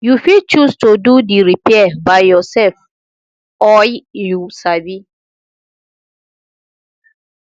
you fit choose to do di repair by yourself oi you sabi